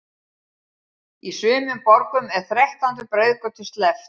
Í sumum borgum er þrettándu breiðgötu sleppt.